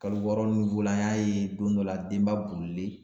Kalo wɔɔrɔ an y'a ye don dɔ la denba bolilen